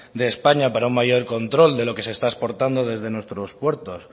de españa para un mayor control de lo que está exportando desde nuestros puertos